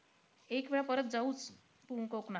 एकवेळा परत जाऊचं कोकणात.